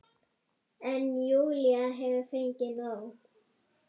En Júlía hefur fengið nóg.